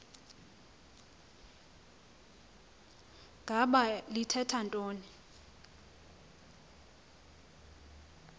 ngaba lithetha ntoni